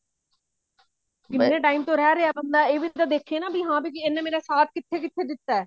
ਬੜੇ time ਤੋਂ ਰਿਹ ਰਿਹਾ ਬੰਦਾ ਇਹ ਵੀ ਦੇਖੇ ਨਾ ਵੀ ਹਾਂ ਵੀ ਇਹਨੇ ਮੇਰਾ ਸਾਥ ਕਿੱਥੇ ਕਿੱਥੇ ਦਿੱਤਾ